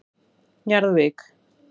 Njarðvík